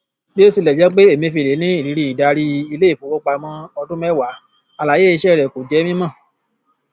bòtilẹjẹpé emefiele ní ìrírí ìdarí ilé ìfowópamọ ọdún mẹwàá àlàyé iṣẹ rẹ kò jẹ mímọ